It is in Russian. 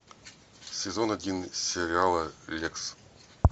сезон один сериала лекс